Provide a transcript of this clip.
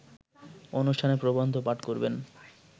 অনুষ্ঠানে প্রবন্ধ পাঠ করবেন